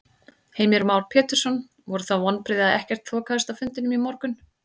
Heimir Már Pétursson: Voru það vonbrigði að ekkert þokaðist á fundinum í morgun?